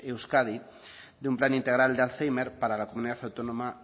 euskadi de un plan integral de alzhéimer para la comunidad autónoma